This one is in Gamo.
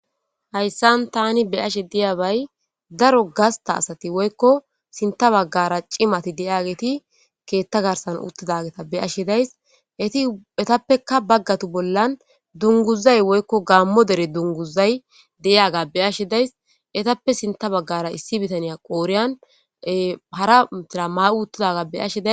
Hayssan tani be ashe diyabay daro gasta asati woykko sinta baggara cimati deyageti keetta garsan uttidageta beashe days etietappeka baggatu bollan dunguzay woykko gaammo dere dunguzay deyaga beyashe days etappe sinta baggara issi bitaniya qooriyan hara metira maa'u uttidaga beashe.